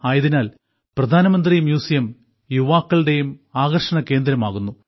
ആയതിനാൽ പ്രധാനമന്ത്രി മ്യൂസിയം യുവാക്കളുടെയും ആകർഷണകേന്ദ്രമാകുന്നു